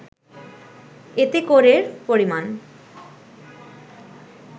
এতে করের পরিমাণ